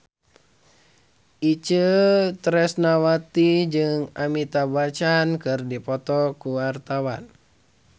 Itje Tresnawati jeung Amitabh Bachchan keur dipoto ku wartawan